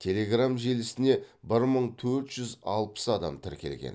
телеграмм желісіне бір мың төрт жүз алпыс адам тіркелген